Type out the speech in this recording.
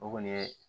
O kɔni ye